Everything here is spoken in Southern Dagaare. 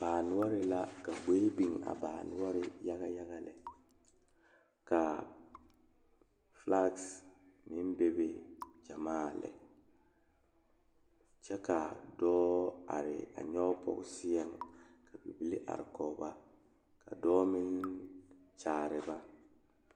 Baa nore la are pegle sokoɔraa a zage zage o zaa kyɛ ka vūū kpimɛ meŋ are a be vūū kpimɛ vɔgle zupele doɔre kyɛ kaa vūū kpine lɔre are sokoɔraa zu kyɛ ka noba meŋ are a kyaare ba.